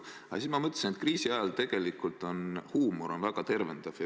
Aga siis ma mõtlesin, et kriisiajal tegelikult huumor on väga tervendav.